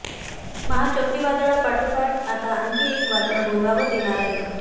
महाचक्रीवादळा पाठोपाठ आता आणखी एक वादळ घोंगावत येणार आहे